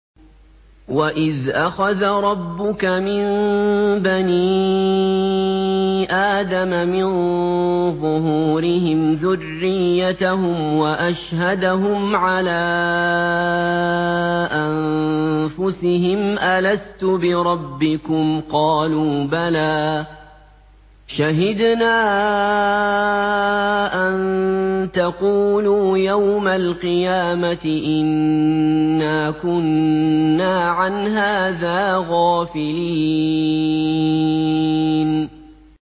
وَإِذْ أَخَذَ رَبُّكَ مِن بَنِي آدَمَ مِن ظُهُورِهِمْ ذُرِّيَّتَهُمْ وَأَشْهَدَهُمْ عَلَىٰ أَنفُسِهِمْ أَلَسْتُ بِرَبِّكُمْ ۖ قَالُوا بَلَىٰ ۛ شَهِدْنَا ۛ أَن تَقُولُوا يَوْمَ الْقِيَامَةِ إِنَّا كُنَّا عَنْ هَٰذَا غَافِلِينَ